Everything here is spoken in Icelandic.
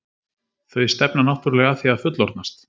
Þau stefna náttúrulega að því að fullorðnast.